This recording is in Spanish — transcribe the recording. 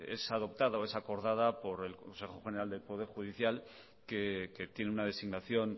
es adoptada o es acordada por el consejo general del poder judicial que tiene una designación